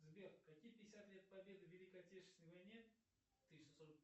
сбер какие пятьдесят лет победы великой отечественной войне тысяча сорок